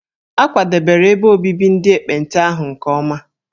A kwadebere ebe obibi ndị ekpenta ahụ nke ọma.